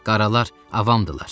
Qaralar avamdırlar.